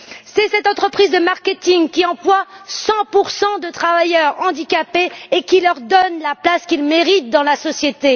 C'est cette entreprise de marketing qui emploie 100 de travailleurs handicapés et qui leur donne la place qu'ils méritent dans la société.